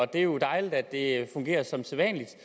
det er jo dejligt at det fungerer som sædvanlig